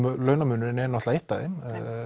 launamunurinn er eitt af þeim